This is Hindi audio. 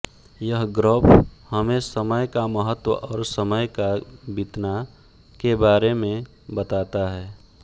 यह ग्रॅफ हमे समय का महत्व और समय का बीतना के बारे मे बताता है